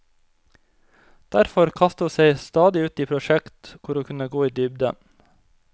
Derfor kasta ho seg stadig ut i prosjekt kor ho kunne gå i dybden.